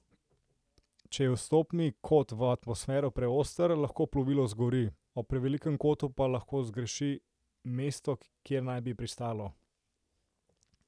Če je vstopni kot v atmosfero preoster, lahko plovilo zgori, ob prevelikem kotu pa lahko zgreši mesto, kjer naj bi pristalo.